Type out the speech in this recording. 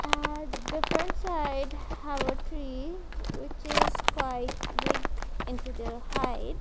had different side have a tree which is quite big into their height.